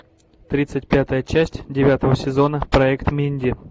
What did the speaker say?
тридцать пятая часть девятого сезона проект минди